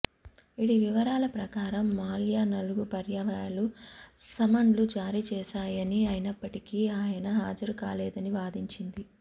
ఇడి వివరాల ప్రకారం మాల్యా నాలుగుపర్యాయాలు సమన్లు జారీచేసామని అయినప్పటికీ ఆయన హాజరుకాలేదని వాదించింది